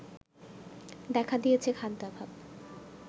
দেখা দিয়েছে খাদ্যাভাব